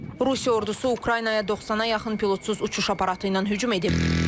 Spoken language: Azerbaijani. Rusiya ordusu Ukraynaya 90-a yaxın pilotsuz uçuş aparatı ilə hücum edib.